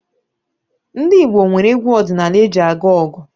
Ndị Igbo nwere egwu ọdịnaala eji aga ọgụ